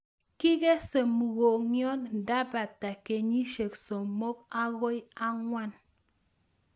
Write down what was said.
Kikese mugongyot ndapata kenyishek somok agoi angwan